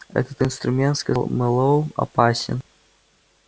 этот инструмент сказал мэллоу опасен